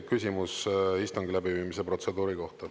Küsimus istungi läbiviimise protseduuri kohta.